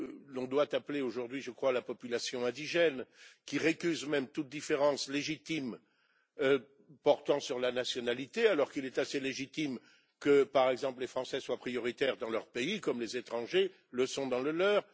l'on doit appeler aujourd'hui, je crois, la population indigène, et récuse même toute différence légitime portant sur la nationalité alors qu'il est assez légitime que, par exemple, les Français soient prioritaires dans leur pays comme les étrangers le sont dans le leur.